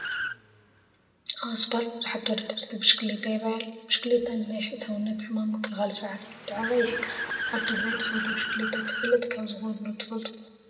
ኣብ ኣስፓልት ብዙሓት ተወዳደርቲ ብሽክሌታ ይራኣዩ ኣለው፡፡ ብሽክሌታ ንናይ ሰውነት ሕማም ምክልኻል ስርዓት ምትዕርራይ ይሕግዝ፡፡ ኣብ ትግራይ ብፀወታ ብሽክሌታ ተፈለጥቲ ካብ ዝኾኑ ዶ ትፈልጡ?